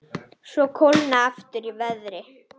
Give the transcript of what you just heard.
Svo kólnaði aftur í veðri.